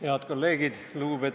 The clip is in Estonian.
Head kolleegid!